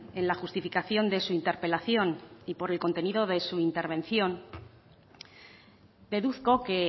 en la justificación de su interpelación y por el contenido de su intervención deduzco que